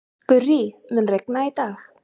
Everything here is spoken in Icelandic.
Gurrí, mun rigna í dag?